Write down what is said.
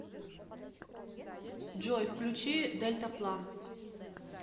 джой включи дельтаплан